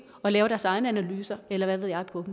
og lave deres egne analyser eller hvad ved jeg på